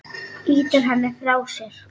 Ýtir henni frá sér.